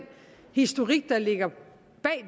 historik der ligger bag